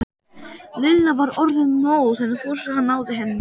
Lilla var orðin móð en Fúsi náði henni ekki.